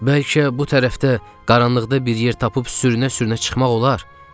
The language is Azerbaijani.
Bəlkə bu tərəfdə qaranlıqda bir yer tapıb sürünə-sürünə çıxmaq olar?